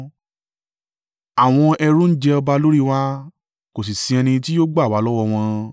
Àwọn ẹrú ń jẹ ọba lórí wa, kò sì ṣí ẹni tí yóò gbà wá lọ́wọ́ wọn.